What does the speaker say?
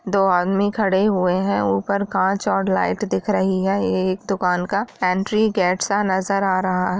दो आदमी खड़े हुए हैं ऊपर कांच और लाइट दिख रही है | एक दुकान का एंट्री गेट सा नजर आ रहा है ।